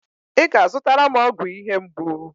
Ị ga-azụtara m ọgwụ ihe mgbu.